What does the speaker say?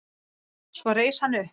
Svo reis hann upp.